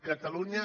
catalunya